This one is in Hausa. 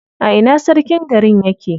A ina sarkin garin yake?